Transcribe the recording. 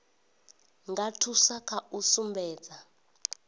nga thusa kha u sumbedza